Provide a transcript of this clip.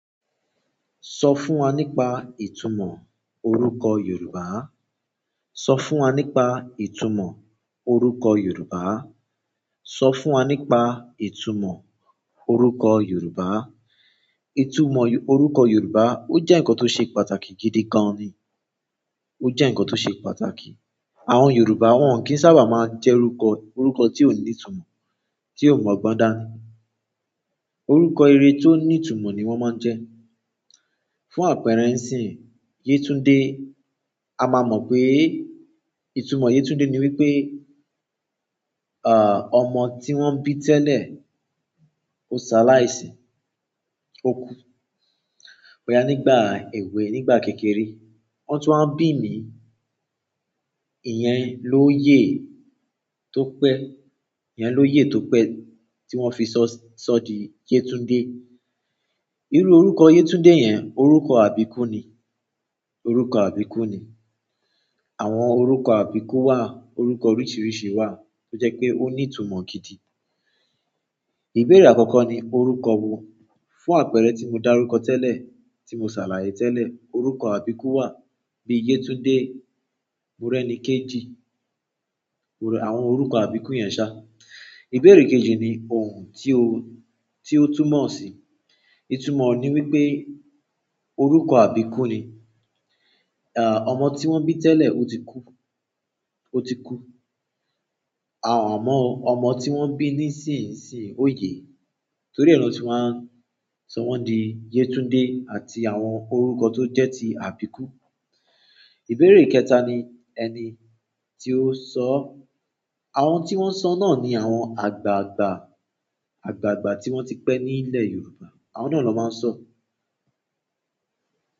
Sọ fún wa nípa ìtumọ̀ orúkọ Yorùbá. Sọ fún wa nípa ìtumọ̀ orúkọ Yorùbá. Sọ fún wa nípa ìtumọ̀ orúkọ Yorùbá. Ìtumọ̀ orúkọ Yorùbá ó jẹ́ nǹkan tó ṣe pàtàkì gidi gan ni. Ó jẹ́ nǹkan tó ṣe pàtàkì. Àwọn Yorùbá wọ́n ò kí ń sábà máa jẹ́rúkọ orúkọ tí ó ní ìtumọ̀, tí ó mu ọ̀gbọ́n dáa ni. Orúkọ ire tó ní ìtumọ̀ ni wọ́n máa ń jẹ́. Fún àpẹẹrẹ ǹsìn, Yétúndé, a máa mọ́ pé ìtumọ̀ Yétúndé ni wípé, à, ọmọ tí wọ́n bí tẹ́lẹ̀ ó saláìsí, ó kú. Boya nígbà èwe, nígbà kékeré. Wọ́n tó wáa bí mi, ìyẹn lóye tó pẹ́, ìyẹn lóye tó pẹ́ tí wọ́n fi ṣọ, sọ di Yétúndé. Irú orúkọ Yétúndé yẹn orúkọ àbíku ni. Orúkọ àbíkú ni. Àwọn orúkọ àbíkú wà, orúkọ oríṣìíríṣìí wà tó jẹ́ pé ó ní ìtumọ̀ gidi. Ìbéèrè àkọ́kọ́ ni orúkọ wo? Fún àpẹẹrẹ tí mo darukọ orúkọ tẹ́lẹ̀, tí mo ṣàlàyé tẹ́lẹ̀, orúkọ àbíkú wà bí i Yétúndé, Mórẹ́nikéjì. Àwọn orúkọ àbíkú yẹn ṣá. Ìbéèrè kejì ni òhún tí o, tí o túmọ̀ sí i. Ìtumọ̀ ọ̀ ní wípé orúkọ àbíkú ni. À, ọmọ tí wọ́n bí tẹ́lẹ̀ ó ti kú, ó ti kú. À, amọ, ọmọ tí wọ́n bí nísinsìnyí ó yẹ, torí ẹ nọ́n ti wáa ń sọ wọ́n di Yétúndé àti àwọn orúkọ tó jẹ́ ti àbíkú. Ìbéèrè kẹ́ta ni ẹni tí ó sọ ọ́. Àwọn tí wọ́n sọ náà ni àwọn àgbààgbà, àgbààgbà tí wọ́n ti pẹ́ ní ilẹ̀ Yorùbá. Àwọn náà ló máa ń sọ ọ́.